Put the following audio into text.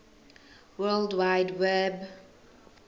world wide web